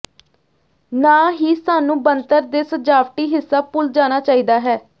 ਨਾ ਹੀ ਸਾਨੂੰ ਬਣਤਰ ਦੇ ਸਜਾਵਟੀ ਹਿੱਸਾ ਭੁੱਲ ਜਾਣਾ ਚਾਹੀਦਾ ਹੈ